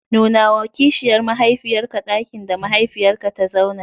Nunawa kishiyar mahaifiyarka ɗakin da mahaifiyarka ta zauna.